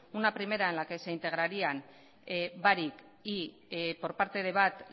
una primera en la que se integrarían barik y por parte de bat